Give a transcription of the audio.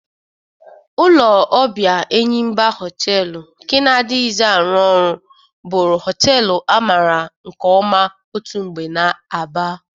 Ụlọ ọbịa Enyimba Họteelụ nke na-adịghịzi arụ ọrụ bụrụ họteelu amara nke ọma otu mgbe n'Aba,